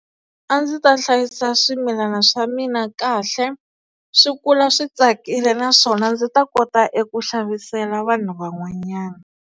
A ndzi ta hlayisa swimilana swa mina kahle, swi kula swi tsakile naswona ndzi ta kota eku xavisela vanhu van'wanyana.